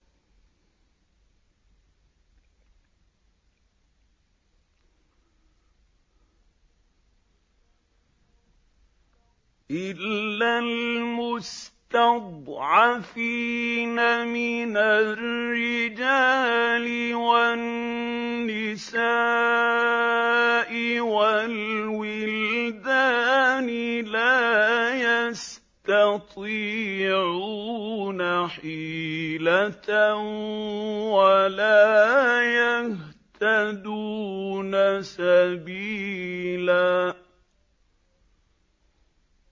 إِلَّا الْمُسْتَضْعَفِينَ مِنَ الرِّجَالِ وَالنِّسَاءِ وَالْوِلْدَانِ لَا يَسْتَطِيعُونَ حِيلَةً وَلَا يَهْتَدُونَ سَبِيلًا